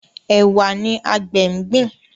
Ẹwà ní àgbè ngbin.